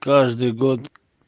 каждый год